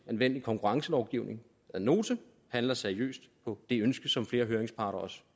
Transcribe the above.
anvendelig konkurrencelovgivning ad notam og handler seriøst på det ønske som flere høringsparter også